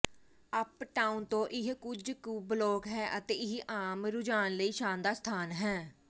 uptown ਤੋਂ ਇਹ ਕੁਝ ਕੁ ਬਲਾਕ ਹੈ ਅਤੇ ਇਹ ਆਮ ਰੁਝਾਣ ਲਈ ਸ਼ਾਨਦਾਰ ਸਥਾਨ ਹੈ